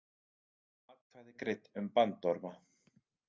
Atkvæði greidd um bandorma